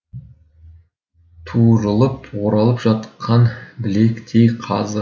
туырылып оралып жатқан білектей қазы